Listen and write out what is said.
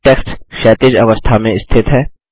text क्षैतिज अवस्था में स्थित है